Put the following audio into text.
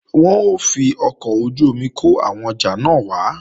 Wọn ó fi ọkọ̀ ojú-omi kó àwọn ọjà náà wá